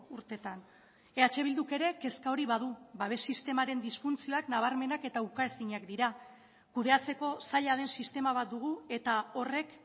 urteetan eh bilduk ere kezka hori badu babes sistemaren disfuntzioak nabarmenak eta ukaezinak dira kudeatzeko zaila den sistema bat dugu eta horrek